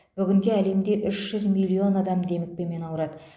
бүгінде әлемде үш жүз миллион адам демікпемен ауырады